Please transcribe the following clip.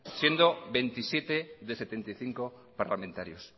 siendo veintisiete de setenta y cinco parlamentarios